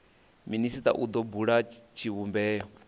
minisita u do bula tshivhumbeo